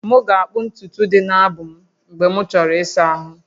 M ga-akpụ ntutu dị n'abụ m mgbe m chọrọ ịsa ahụ